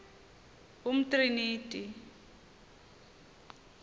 umtriniti